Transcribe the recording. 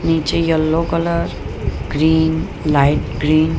નીચે yellow colour green light green --